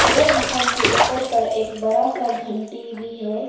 यह इंसान के ऊपर पर एक बड़ा सा घंटी भी है।